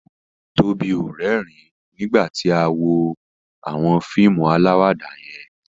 Tóbi o rérìn nígbàtí a wón fíìmù alawada yén